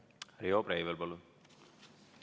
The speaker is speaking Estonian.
Riho Breivel, palun!